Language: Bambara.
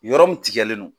Yɔrɔ min tigɛlen no